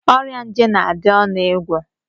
Ọrịa nje na-adị ọnụ ịgwọ.